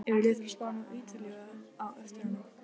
Eru lið frá Spáni og Ítalíu á eftir honum?